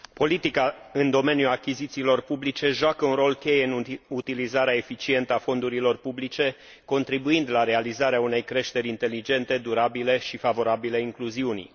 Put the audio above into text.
Politica în domeniul achizițiilor publice joacă un rol cheie în utilizarea eficientă a fondurilor publice, contribuind la realizarea unei creșteri inteligente, durabile și favorabile incluziunii.